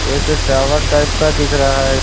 एक tower type का दिख रहा है।